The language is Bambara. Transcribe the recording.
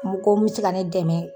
Moko mu se ka ne dɛmɛ